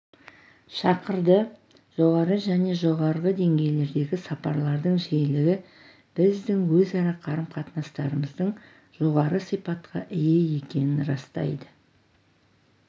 шақырды жоғары және жоғарғы деңгейлердегі сапарлардың жиілігі біздің өзара қарым-қатынастарымыздың жоғары сипатқа ие екенін растайды